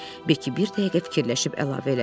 Beki bir dəqiqə fikirləşib əlavə elədi.